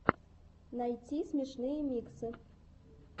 найти смешные миксы